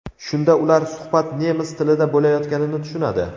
Shunda ular suhbat nemis tilida bo‘layotganini tushunadi.